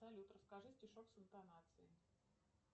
салют расскажи стишок с интонацией